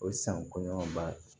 O san kɔɲɔba